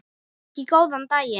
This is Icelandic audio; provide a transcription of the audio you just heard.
Ekki góðan daginn.